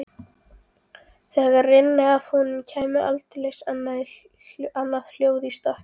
Þegar rynni af honum kæmi aldeilis annað hljóð í strokkinn.